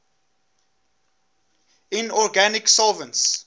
inorganic solvents